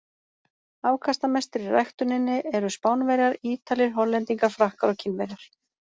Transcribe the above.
Afkastamestir í ræktuninni eru Spánverjar, Ítalir, Hollendingar, Frakkar og Kínverjar.